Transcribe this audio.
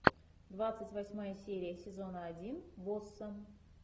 двадцать восьмая серия сезона один босса